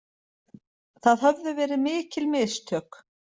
Það höfðu verið mikil mistök.